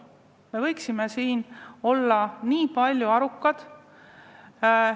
Me võiksime olla nii palju arukad, et ei lase.